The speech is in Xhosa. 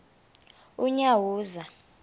unyawuza